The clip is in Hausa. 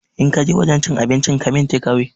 In kaje wajen cin abincin ka min tekawe